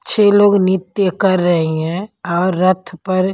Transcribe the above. छह लोग नृत्य कर रही हैं और रथ पर--